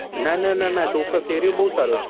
ના ના ના ના area બઉ સારો છે